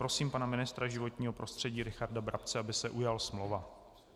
Prosím pana ministra životního prostředí Richarda Brabce, aby se ujal slova.